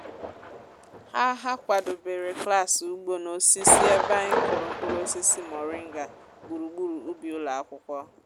ha ha kwàdobèrè klas ugbo na osisi ebe anyị kụrụ mkpụrụ osisi moringa gburugburu ubi ụlọ akwụkwọ